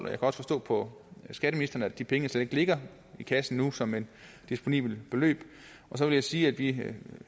kan også forstå på skatteministeren at de penge slet ikke ligger i kassen nu som et disponibelt beløb og så vil jeg sige at vi